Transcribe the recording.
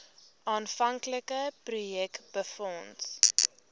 aanvanklike projek befonds